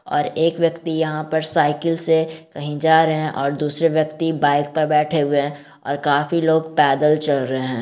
और एक व्यक्ति यहां पे साइकिल से कही जा रहे है और दूसरे व्यक्ति बाइक पे बैठे हुए है और काफी लोग पैदल चल रहे है।